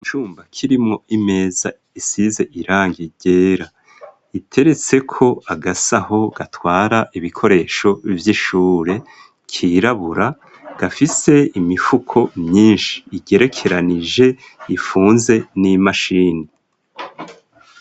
Icumba kirimwo imeza isize irangi ryera, iteretseko agasaho gatwara ibikoresho vy'ishure kirabura ,gafise imifuko myinshi igerekeranije ifunze n'imashini.